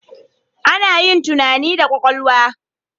Ana yin tunani da kwakwalwa.